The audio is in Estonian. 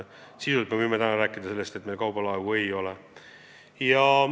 Sisuliselt me võime ikkagi rääkida sellest, et meil kaubalaevu ei ole.